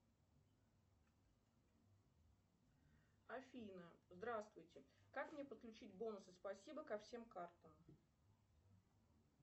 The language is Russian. афина здравствуйте как мне подключить бонусы спасибо ко всем картам